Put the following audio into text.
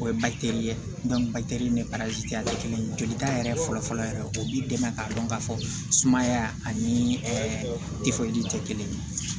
O ye ye kelen jolita yɛrɛ fɔlɔ fɔlɔ yɛrɛ o b'i dɛmɛ k'a dɔn ka fɔ sumaya ani ɛɛ tɛ kelen ye